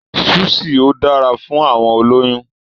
Súṣì ò dára fún àwọn olóyún.